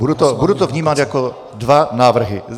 Budu to vnímat jako dva návrhy.